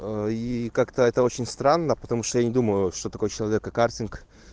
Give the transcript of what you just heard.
и как-то это очень странно потому что я не думаю что такой человек и картинг